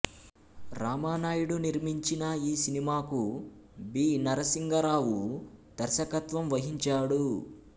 రామానాయుడు నిర్మించిన ఈ సినిమాకు బి నరసింగరావు దర్శకత్వం వహించాడు